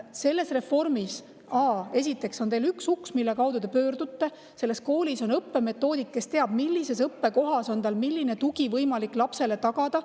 Selle reformi järel on üks, kuhu ta pöördub, ja koolis on õppemetoodik, kes teab, millises õppekohas on milline tugi võimalik lapsele tagada.